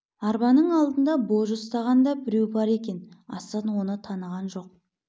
арбаның алдында божы ұстаған да біреу бар екен асан оны таныған жоқ